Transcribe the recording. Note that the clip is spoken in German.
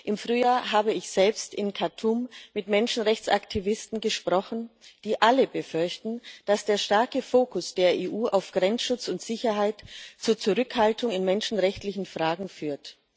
Im Frühjahr habe ich selbst in Khartum mit Menschenrechtsaktivisten gesprochen, die alle befürchten, dass der starke Fokus der EU auf Grenzschutz und Sicherheit zu Zurückhaltung in menschenrechtlichen Fragen führt.